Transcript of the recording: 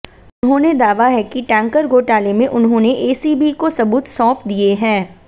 उन्होंने दावा है कि टैंकर घोटाले में उन्होंने एसीबी को सबूत सौंप दिए हैं